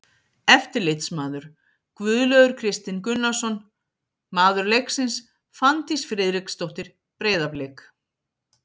Eftirlitsmaður: Guðlaugur Kristinn Gunnarsson Maður leiksins: Fanndís Friðriksdóttir, Breiðablik.